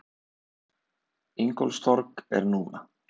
Ingólfstorg er núna.